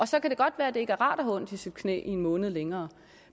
så kan det godt være at det ikke er rart at have ondt i sit knæ en måned længere